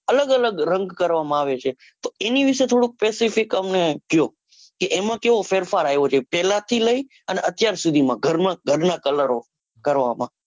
અલગ અલગ રંગ કરવામાં આવે છે તો એની વિશે થોડો specific અમને કયો. કે એમાં કેવો ફેરફાર આવ્યો છે. પેલા થી લઇ અને અત્યાર સુધી માં ઘર માં ઘરના કલરો કરવામાં,